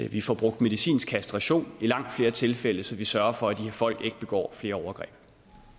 vi får brugt medicinsk kastration i langt flere tilfælde så vi sørger for at de her folk ikke begår flere overgreb